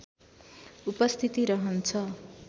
उपस्थिति रहन्छ